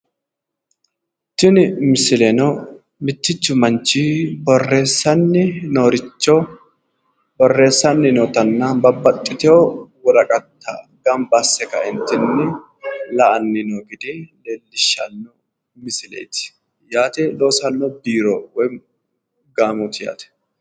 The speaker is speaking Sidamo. Tini misileno mittichu manchi borreessani noo richo borreessanni nootanna babbaxxitewo woraqatta gamba asse ka'eentinni la'anni noo gede leellishanno misileeti yaate loosanno biiro woyimmi gaamooti yaate